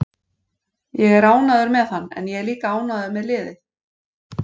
Ég er ánægður með hann en ég er líka ánægður með liðið.